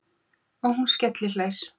Og hún skellihlær.